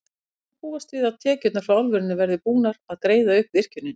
En hvenær má búast við að tekjurnar frá álverinu verði búnar að greiða upp virkjunina?